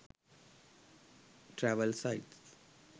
travel sites